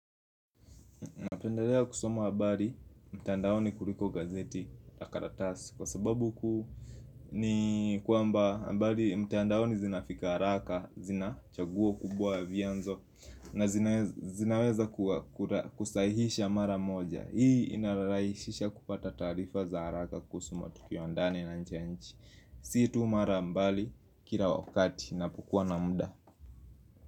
Napendelea kusoma habari mtandaoni kuliko gazeti la karatasi Kwa sababu kuu ni kwamba habari mtandaoni zinafika haraka zina chaguo kubwa ya vyanzo na zinaweza kuwa kusahisha mara moja Hii inarahisisha kupata taarifa za haraka kuhusu matukio ya ndani na nje nchi Si tu mara mbali kila wakati ninapokuwa na muda.